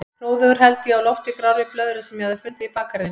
Hróðugur held ég á lofti grárri blöðru sem ég hafði fundið í bakgarðinum.